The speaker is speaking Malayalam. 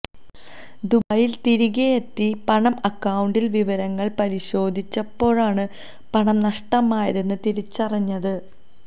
ദുബായില് തിരികെയെത്തി പണം അക്കൌണ്ട് വിവരങ്ങള് പരിശോധിച്ചപ്പോഴാണ് പണം നഷ്ടമായത് തിരിച്ചറിഞ്ഞത്